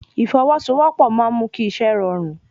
Ìfọwọ́sowọ́pọ̀ máa ń mú kí iṣẹ́ rọrùn